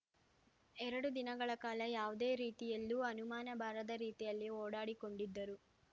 ಎರಡು ದಿನಗಳ ಕಾಲ ಯಾವುದೇ ರೀತಿಯಲ್ಲೂ ಅನುಮಾನ ಬಾರದ ರೀತಿಯಲ್ಲಿ ಓಡಾಡಿಕೊಂಡಿದ್ದರು